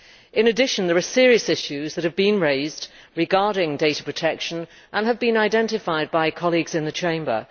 In addition, there are serious issues that have been raised regarding data protection and which have been identified by colleagues in the Chamber.